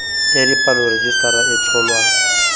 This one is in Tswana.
ya dipalo rejisetara e tsholwa